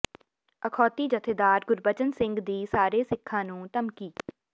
ਅਖੌਤੀ ਜਥੇਦਾਰ ਗੁਰਬਚਨ ਸਿੰਘ ਦੀ ਸਾਰੇ ਸਿੱਖਾਂ ਨੂੰ ਧਮਕੀ